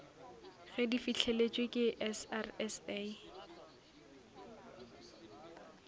ge di fihleletšwe ke srsa